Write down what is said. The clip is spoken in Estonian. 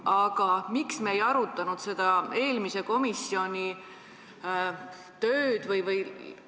Aga miks me ei arutanud selle eelmise komisjoni tööd?